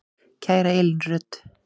Kæra Elín Rut.